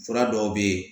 Fura dɔw bɛ yen